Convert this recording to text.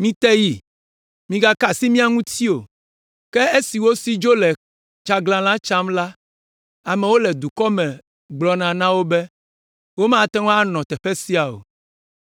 Mite yi! Migaka asi mía ŋuti o!” Ke esi wosi dzo le tsaglãla tsam la, amewo le dukɔwo me gblɔna na wo be, “Womate ŋu aganɔ teƒe sia o.”